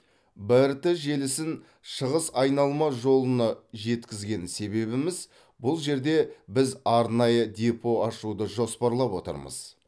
брт желісін шығыс айналма жолына жеткізген себебіміз бұл жерде біз арнайы депо ашуды жоспарлап отырмыз